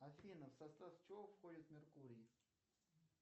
афина в состав чего входит меркурий